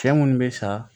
Cɛ munnu be sa